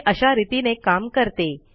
हे अशा रितीने काम करते